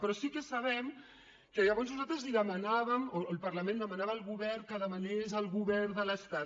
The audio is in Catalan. però sí que sabem que llavors nosaltres li demanàvem o el parlament demanava al govern que demanés al govern de l’estat